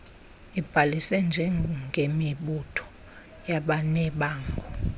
ibhalise njengemibutho yabanebango